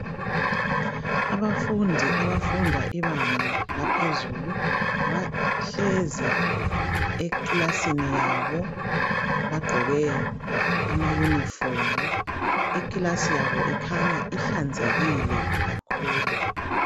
Abafundi abafunda ibanga laphezulu bahlezi ekilasini yabo bagqoke amayunifomu. Ikilasi yabo ikhanya ihlanzekile kakhulu.